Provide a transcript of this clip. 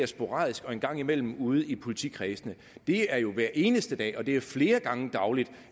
sporadisk og en gang imellem ude i politikredsene det er jo hver eneste dag og det er flere gange dagligt